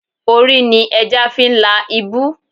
Orí ni ẹja fi ń la ibú.